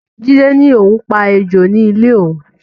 Jide ní òun pa ejò ní ilé òun